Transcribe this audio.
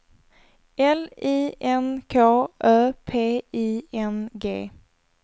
L I N K Ö P I N G